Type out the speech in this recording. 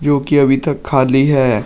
जो कि अभी तक खाली है।